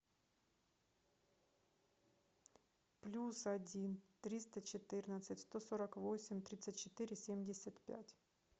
плюс один триста четырнадцать сто сорок восемь тридцать четыре семьдесят пять